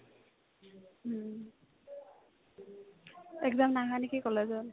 exam নাই হোৱা নেকি কলেজত ?